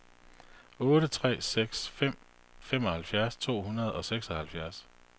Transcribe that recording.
otte tre seks fem femoghalvtreds to hundrede og seksoghalvtreds